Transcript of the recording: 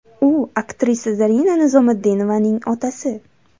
U − aktrisa Zarina Nizomiddinovaning otasi.